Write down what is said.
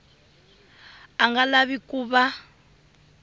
a nga lavi ku va